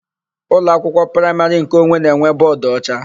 Ụlọakwụkwọ praịmarị nkeonwe na-enwe bọọdụocha.